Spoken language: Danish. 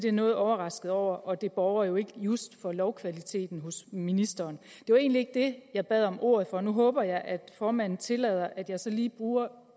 er noget overrasket over og det borger jo ikke just for lovkvaliteten hos ministeren det var egentlig ikke det jeg bad om ordet for nu håber jeg at formanden tillader at jeg så lige bruger